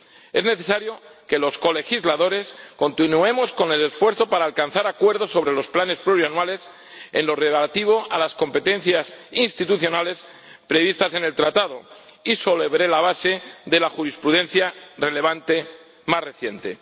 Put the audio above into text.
Es necesario que los colegisladores continuemos con el esfuerzo para alcanzar acuerdos sobre los planes plurianuales en lo relativo a las competencias institucionales previstas en el Tratado y sobre la base de la jurisprudencia relevante más reciente.